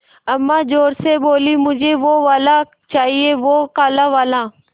अम्मा ज़ोर से बोलीं मुझे वो वाला चाहिए वो काला वाला